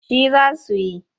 Shi za su yi.